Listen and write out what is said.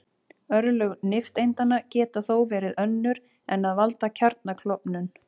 Örlög nifteindanna geta þó verið önnur en að valda kjarnaklofnun.